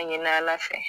Ɲinɛla fɛ